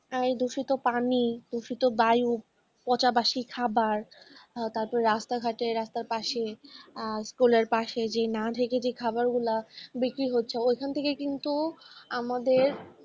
এই দূষিত পানি দূষিত বায়ু পচা বাশি খাবার তারপর রাস্তাঘাটে রাস্তার পাশে, আর স্কুলের পাশে যে না ডেকে যে খাবারগুলো বিক্রি হচ্ছে ওইখান থেকে কিন্তু আমাদের